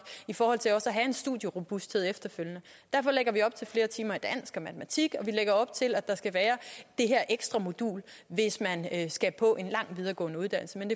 i forhold til at have en studierobusthed efterfølgende derfor lægger vi op til flere timer i matematik og vi lægger op til at der skal være det her ekstra modul hvis man skal på en lang videregående uddannelse men